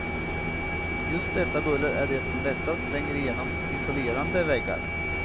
Just detta buller är det som lättast tränger igenom isolerande väggar.